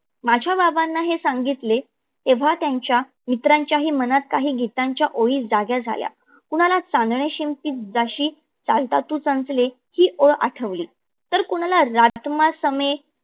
मझ्या बाबांना हे सांगितले तेव्हा त्याच्या मित्राच्या ही मनात काही गीताच्या ओळी जाग्या झाल्या. कुणाला चांदणे शिंपित जाशी चालता तू सांचले ही ओळ आठवली, तर कुणाला राजकुमार सवे